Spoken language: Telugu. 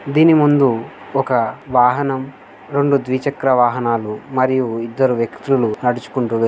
దీన్ని ముందు ఒక వాహనం రెండు ద్విచకార వాహనాలు మరియు ఇద్దరు వ్యక్తులు నడుచుకుంటూ వెల్ --